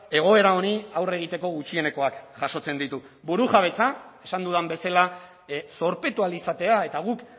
egoera honi aurre egiteko gutxienekoak jasotzen ditu burujabetza esan dudan bezala zorpetu ahal izatea eta guk